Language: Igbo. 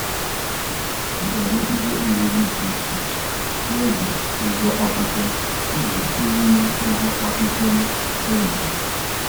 Ana m ere ihe oriri dị iche iche n'oge ụgwọ akwụkwọ iji kwụnwuo ụgwọ akwụkwọ ụmụ m